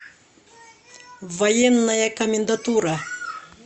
военная комендатура